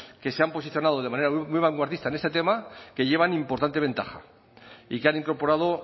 que se han posicionado de manera muy vanguardista en este tema que llevan importante ventaja y que han incorporado